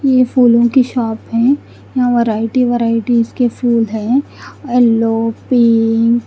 ये फूलो की शॉप है यहाँ वेराइटी वेराइटी इसके फुल है येलो पिंक --